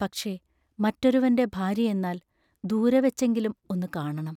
പക്ഷേ, മറ്റൊരുവന്റെ ഭാര്യ എന്നാൽ, ദൂരെവെച്ചെങ്കിലും ഒന്നു കാണണം.